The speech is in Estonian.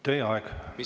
Teie aeg!